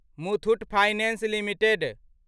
Muthoot finance limited